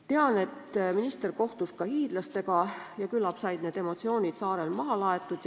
Tean, et minister kohtus ka hiidlastega ja küllap said need emotsioonid saarel maha laetud.